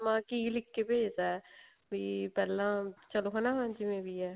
ਪਰਮਾਤਮਾ ਕੀ ਲਿਖ ਕੇ ਭੇਜਦਾ ਵੀ ਪਹਿਲਾਂ ਚਲੋ ਹੁਣ ਹਨਾ ਜਿਵੇਂ ਵੀ ਹੈ